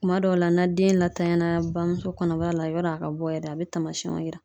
Kuma dɔw la na den latanya bamuso kɔnɔbara la yɔni a ka bɔ yɛrɛ ,a bɛ taamasiyɛnw yira.